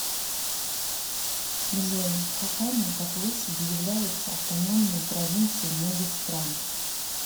джой каками по площади являются автономные провинции многих стран